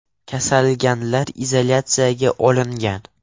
Kasallanganlar izolyatsiyaga olingan.